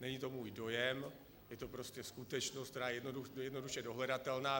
Není to můj dojem, je to prostě skutečnost, která je jednoduše dohledatelná.